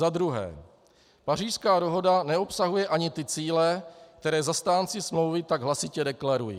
Za druhé, Pařížská dohoda neobsahuje ani ty cíle, které zastánci smlouvy tak hlasitě deklarují.